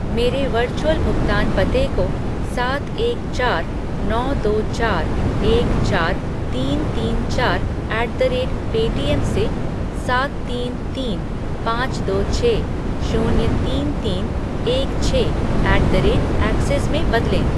मेरे वर्चुअल भुगतान पते को सात एक चार नौ दो चार एक चार तीन तीन चार ऐट द रेट पेटीएम से सात तीन तीन पाँच दो छः शून्य तीन तीन एक छः ऐट द रेट ऐक्सिस में बदलें